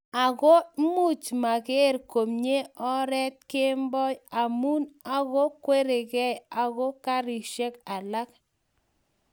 agoo muchmageer komnyei oret kemboi amu ago kwergei ago karishek alak